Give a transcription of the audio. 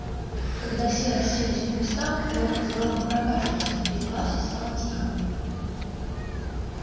когда все расселись по местам локонс громко прокашлялся и в классе стало тихо